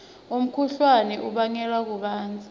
umkhuhlane ubangwa kubandza